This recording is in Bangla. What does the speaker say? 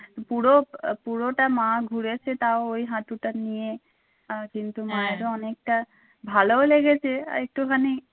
পুরো আহ পুরোটা মা ঘুরেছে তাও ওই হাটুটা নিয়ে আহ কিন্তু মায়ের ও অনেকটা ভালো লেগেছে আরেকটুখানি